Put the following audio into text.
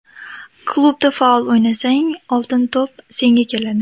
Klubda faol o‘ynasang, ‘Oltin to‘p’ senga keladi.